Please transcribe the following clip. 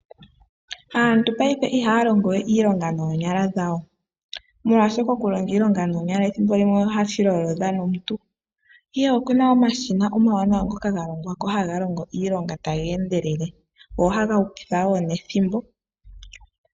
Aantu payife ihaa longe wee iilonga noonyala dhawo, molwaashoka okulonga iilonga noonyala ethimbo limwe ohashi lolodha nomuntu ihe okuna omashina omawanawa ngoka galongwa ko haga longo iilonga taga endelele go ohaga hupitha woo nethimbo.